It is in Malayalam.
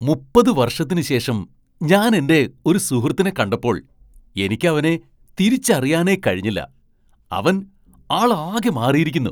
മുപ്പത് വർഷത്തിനുശേഷം ഞാൻ എൻ്റെ ഒരു സുഹൃത്തിനെ കണ്ടപ്പോൾ എനിക്കവനെ തിരിച്ചറിയാനേ കഴിഞ്ഞില്ല, അവൻ ആൾ ആകെ മാറിയിരിക്കുന്നു.